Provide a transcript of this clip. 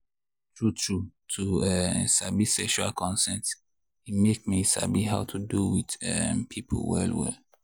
true true to um sabi sexual consent e make me sabi how to do with um people well well.